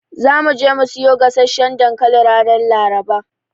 Za mu je mu siyo gasasshan dankali ranar Laraba.